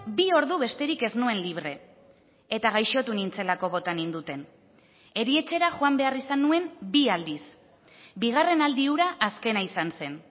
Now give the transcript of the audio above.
bi ordu besterik ez nuen libre eta gaixotu nintzelako bota ninduten erietxera joan behar izan nuen bi aldiz bigarren aldi hura azkena izan zen